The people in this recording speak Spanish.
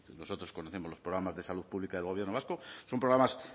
nosotros conocemos los programas de salud pública del gobierno vasco son programas